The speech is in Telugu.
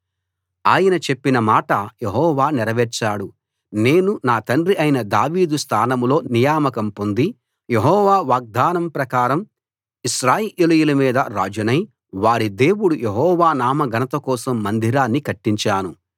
ఆయన చెప్పిన మాట యెహోవా నెరవేర్చాడు నేను నా తండ్రి అయిన దావీదు స్థానంలో నియామకం పొంది యెహోవా వాగ్దానం ప్రకారం ఇశ్రాయేలీయుల మీద రాజునై వారి దేవుడు యెహోవా నామ ఘనత కోసం మందిరాన్ని కట్టించాను